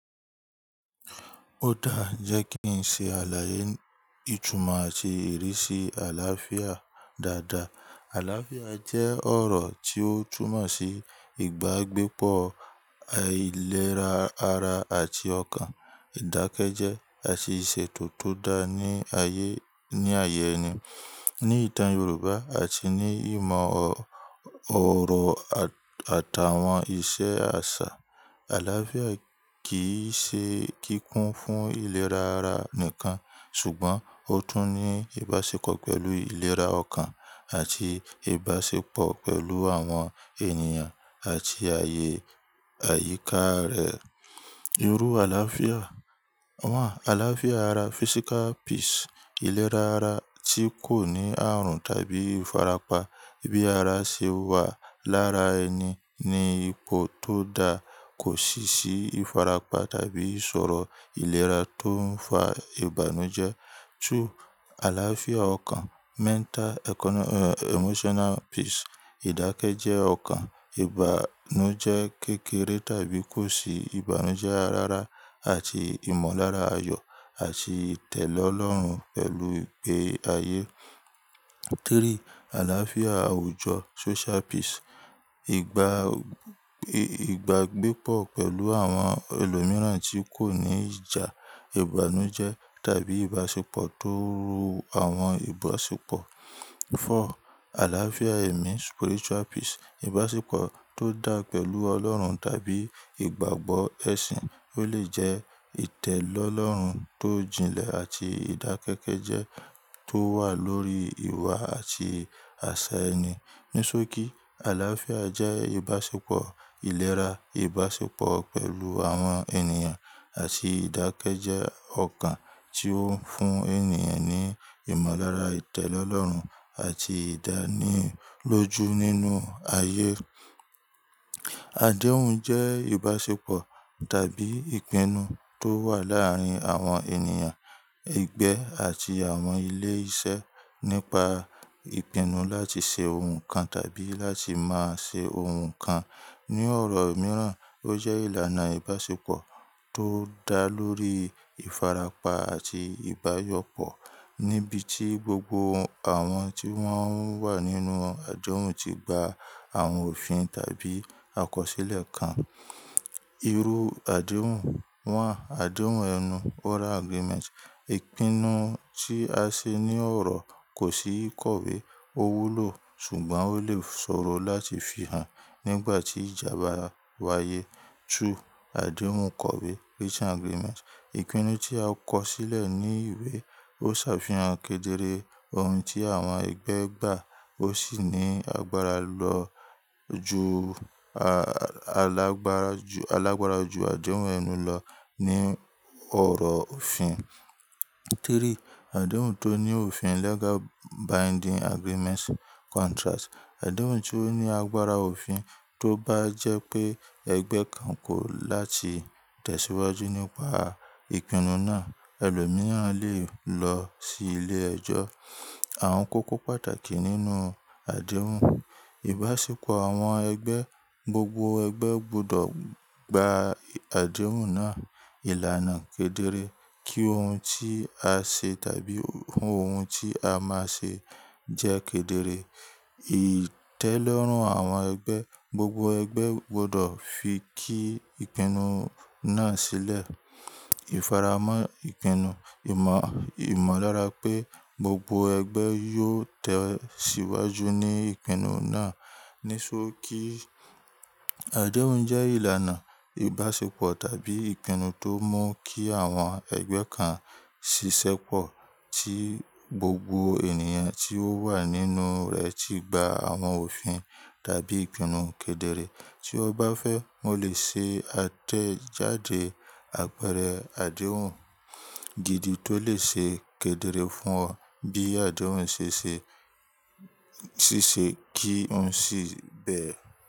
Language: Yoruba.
Ó dáa jẹ́ kí n ṣe àlàyé ìtúmọ̀ àti ìrísí àlàáfíà dáadáa. Àlàáfíà jẹ́ ọ̀rọ̀ tí ó túnmọ̀ sí ìgbàgbépọ̀, àìlera ara àti ọkàn, ìdákẹ́jẹ́, àti ìṣètò tó dáa ní ayé, ní ayẹ ni. Ni ìtàn Yorùbá àti ní ìmọ̀ ọ̀rọ̀ àtàwọn ìṣe àṣà, àlàáfíà kì í ṣe kíkún fún ìlera ara nìkan ṣùgbọ́n ó tún ní ìbáṣepọ̀ pẹ̀lú ìlera ọkàn àti ìbáṣepọ̀ pẹ̀lú àwọn ènìyàn àti ààyè àyíká rẹ̀. Irú àlàáfíà àlàáfíà ara physical peace, ìlera ara tí kò ní ààrùn tàbí ìfarapa bí ara ṣe wà lára ẹni ní ipò tó dáa, kò sì sí ìfarapa tàbí ìṣòro ìlera tó ń fa ìbànújẹ́. Two, àlàáfíà ọkàn mental, econom-- e, emotional peace. Ìdákẹ́jẹ́ ọkàn, ìbànújẹ́ kékeré tàbí kò sí ìbànújẹ́ ara àti ìmọ̀lára ayọ̀ àti ìtẹ̀lọ́rùn pẹ̀lú ìgbé ayé. Three, àlàáfíà àwùjọ social peace. Ìgbà, ìgbàgbépọ̀ pẹ̀lú àwọn ẹlòmíràn tí kò ní ìjà, ìbànújẹ́ tàbí ìbáṣepọ̀ tó wu àwọn ìbáṣepọ̀. Four, àlàáfíà ẹ̀mí spiritual peace. Ìbáṣepọ̀ tó dáa pẹ̀lú Ọlọ́run tàbí ìgbàgbọ́ ẹ̀sìn ó lè jẹ́ ìtẹ̀lọ́rùn tó jinlẹ̀ àti ìdákẹ́kẹ́jẹ́ tó wà lórí ìwà àti àṣà ẹni. Ní só kí àlàáfíà jẹ́ ìbáṣepọ̀ ìlera, ìbáṣepọ̀ pẹ̀lú àwọn ènìyàn àti ìdákẹ́jẹ́ ọkàn tí ó ń fún ènìyàn ní ìmọ̀lára ìtẹ̀lọ́rùn àti ìdánilójú nínú ayé. Àdéhùn jẹ́ ìbáṣepọ̀ tàbí ìpinnu tó wà láàárín àwọn ènìyàn, ẹgbẹ́ àti àwọn ilé iṣẹ́ nípa ìpinnu láti ṣe ohun kan tàbí láti má ṣe ohun kan. Ni ọ̀rọ̀ mìíràn ó jẹ́ ìlànà ìbáṣepọ̀ tó dá lórí ìfarapa àti ìbáyọpọ̀ níbi tí gbogbo àwọn tí wọ́n wà nínú àjọ̀hún ti gba àwọn òfin tàbí àkọsílẹ̀ kan. Irú àdéhùn àdéhùn ẹnu oral agreement. Ìpinnu tí a ṣe ní ọ̀rọ̀ kò sí ìkọ̀wé, ó wúlò ṣùgbọ́n ó lè ṣòro láti fihàn nígbà tí ìjà bá wáyé. Two, àdéhùn kọ̀wé written agreement. Ìpinnu tí a kọ sílẹ̀ ní ìwé ó ṣàfihàn kedere ohun tí àwọn ẹgbẹ́ gbà ó sì ní agbára lọ ju, alagbara ju, alagbara ju àdéhùn ẹnu lọ ní ọ̀rọ̀ òfin. Three, àdéhùn tó ní òfin legal binding agreement/contract. Àdéhùn tí ó ní agbára òfin tó bá jẹ́ pé ẹgbẹ́ kan kò láti tẹ̀síwájú nípa ìpinnu náà ẹlòmíràn lè lọ sí ilé ẹjọ́. Àwọn kókó pàtàkì nínú àdéhùn. Ìbáṣepọ̀ àwọn ẹgbẹ́, gbogbo ẹgbẹ́ gbọdọ̀ gba àdéhùn náà. Ìlànà kedere, kí ohun tí a ṣe tàbí ohun tí a máa ṣe jẹ́ kedere. Ìtẹ́lọ́rùn àwọn ẹgbẹ́, gbogbo ẹgbẹ́ gbọdọ̀ fi kí ìpinnu náà sílẹ̀. Ìfaramọ́ ìpinnu, ìmọ̀, ìmọ̀lára pé gbogbo ẹgbẹ́ yóò tẹ̀síwájú ní ìpinnu náà. Ní só kí àdéhùn jẹ́ ìlànà ìbáṣepọ̀ tàbí ìpinnu tó mú kí àwọn ẹgbẹ́ kan ṣiṣẹ́pọ̀ tí gbogbo ènìyàn tí ó wà nínú rẹ̀ ti gba àwọn òfin tàbí ìpinnu kedere. Tí ó bá fẹ́ wọn lè ṣe atẹ́jàde àpẹẹrẹ àdéhùn gidi tó lè ṣe kedere fún ọ bí àdéhùn ṣe ṣe, ṣiṣẹ́ kí ohun sì bẹ́ẹ̀.